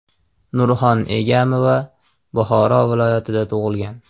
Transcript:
Nurxon Egamova Buxoro viloyatida tug‘ilgan.